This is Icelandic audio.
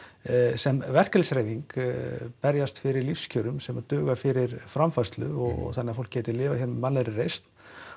sem verkalýðshreyfing berjast fyrir lífskjörum sem duga fyrir framfærslu þannig að fólk geti lifað hér með mannlegri reisn